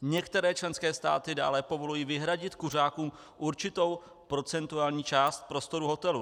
Některé členské státy dále povolují vyhradit kuřákům určitou procentuální část prostor hotelu.